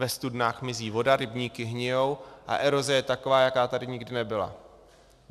Ve studnách mizí vody, rybníky hnijí a eroze je taková, jaká tady nikdy nebyla.